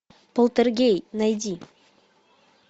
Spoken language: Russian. полтергей найди